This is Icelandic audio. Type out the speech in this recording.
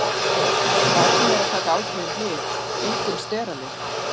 Barnið er að taka ákveðin lyf, einkum steralyf.